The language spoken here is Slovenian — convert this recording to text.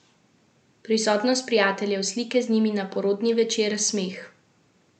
Prisotnost prijateljev, slike z njimi na porodni večer, smeh ...